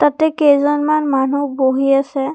তাতে কেইজনমান মানুহ বহি আছে।